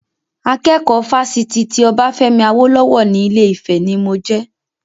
Akẹ́kọ̀ọ́ Fásitì ti Obafemi Awolowo ni Ilé-Ifè ni mo jẹ.